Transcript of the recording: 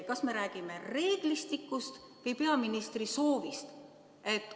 Kas me räägime reeglistikust või peaministri soovist?